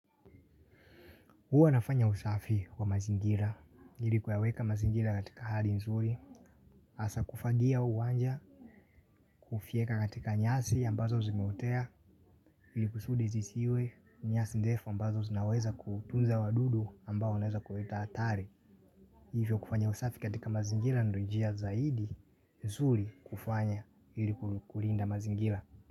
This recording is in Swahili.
Huwa nafanya usafi wa mazingira, ili kuyaweka mazingira katika hali nzuri, hasa kufagia uwanja, kufyeka katika nyasi ambazo zimeotea, ili kusudi zisiwe, nyasi ndefu ambazo zinaweza kutunza wadudu ambao naweza kuleta hatari. Hivyo kufanya usafi katika mazingira ndio njia zaidi, nzuri kufanya ili kulinda mazingira.